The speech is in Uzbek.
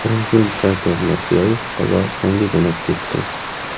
Prezident Shavkat Mirziyoyev Qozog‘istonga jo‘nab ketdi.